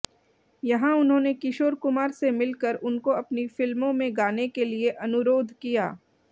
यहां उन्होंने किशोर कुमार से मिलकर उनको अपनी फिल्मों में गाने के लिए अनुरोध किया